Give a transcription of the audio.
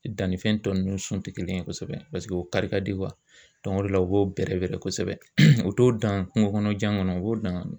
Dannifɛn tɔ nunnu sun ti kelen ye kosɛbɛ paseke o kari ka di o de la u b'o bɛrɛ bɛrɛ kosɛbɛ u t'o dan kungo kɔnɔjan kɔnɔ u b'o dan